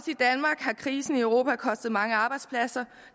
krisen i europa kostet mange arbejdspladser